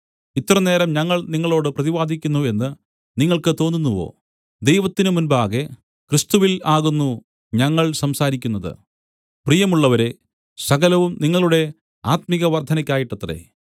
ഇത്രനേരം ഞങ്ങൾ നിങ്ങളോട് പ്രതിവാദിക്കുന്നു എന്ന് നിങ്ങൾക്ക് തോന്നുന്നുവോ ദൈവത്തിന്മുമ്പാകെ ക്രിസ്തുവിൽ ആകുന്നു ഞങ്ങൾ സംസാരിക്കുന്നത് പ്രിയമുള്ളവരേ സകലവും നിങ്ങളുടെ ആത്മികവർദ്ധനയ്ക്കായിട്ടത്രേ